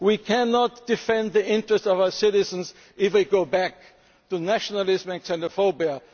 all the others. We cannot defend the interests of our citizens if we go back to nationalism